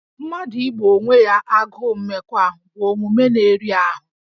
Mmadụ igbò onwe ya agụụ mmekọahụ bụ omume na-eri ahụ